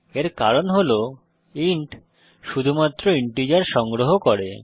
এর কারণ হল ইন্ট শুধুমাত্র ইন্টিজার সংগ্রহ করে